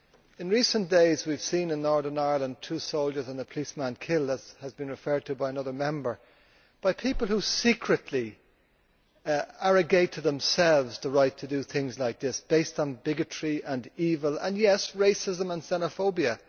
In recent days, we have seen in Northern Ireland two soldiers and a policeman killed, as has been referred to by another Member, by people who secretly arrogate to themselves the right to do things like this based on bigotry and evil and yes racism and xenophobia.